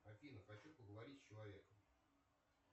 афина хочу поговорить с человеком